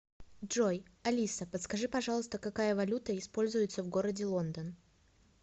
джой алиса подскажи пожалуйста какая валюта используется в городе лондон